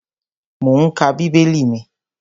Mò ún ka bíbélì mi